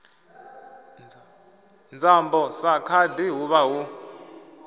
nzambo sa khadi huvha hu